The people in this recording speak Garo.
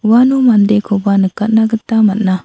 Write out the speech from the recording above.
uano mandekoba nikatna gita man·a.